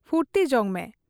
ᱯᱷᱩᱨᱛᱤ ᱡᱚᱝ ᱢᱮ ᱾